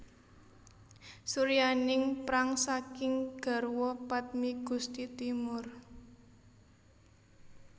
Suryaningprang saking garwa padmi Gusti Timur